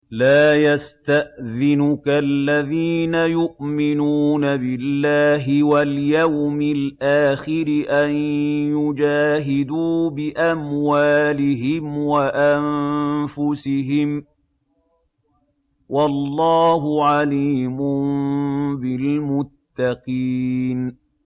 لَا يَسْتَأْذِنُكَ الَّذِينَ يُؤْمِنُونَ بِاللَّهِ وَالْيَوْمِ الْآخِرِ أَن يُجَاهِدُوا بِأَمْوَالِهِمْ وَأَنفُسِهِمْ ۗ وَاللَّهُ عَلِيمٌ بِالْمُتَّقِينَ